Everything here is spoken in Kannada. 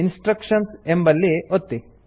ಇನ್ಸ್ಟ್ರಕ್ಷನ್ಸ್ ಎಂಬಲ್ಲಿ ಒತ್ತಿ